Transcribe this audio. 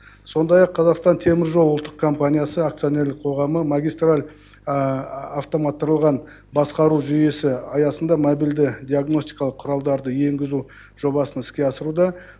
сондай ақ қазақстан темір жол ұлттық компаниясы акционерлік қоғамы магистраль автоматтарылған басқару жүйесі аясында мобильді диагностикалық құралдарды енгізу жобасын іске асыруда